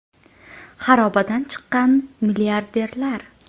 Xarobadan chiqqan milliarderlar.